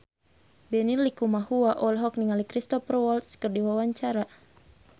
Benny Likumahua olohok ningali Cristhoper Waltz keur diwawancara